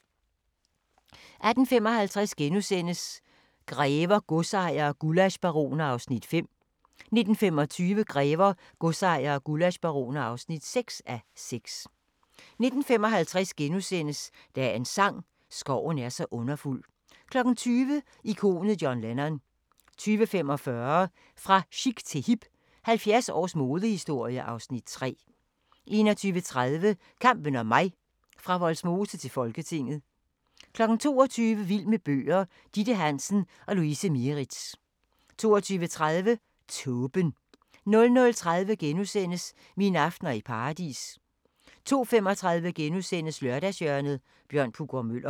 18:55: Grever, godsejere og gullaschbaroner (5:6)* 19:25: Grever, godsejere og gullaschbaroner (6:6) 19:55: Dagens sang: Skoven er så underfuld * 20:00: Ikonet John Lennon 20:45: Fra chic til hip – 70 års modehistorie (Afs. 3) 21:30: Kampen om mig - fra Vollsmose til Folketinget 22:00: Vild med bøger: Ditte Hansen og Louise Mieritz 22:30: Tåben 00:30: Mine aftener i Paradis * 02:35: Lørdagshjørnet – Bjørn Puggaard-Muller *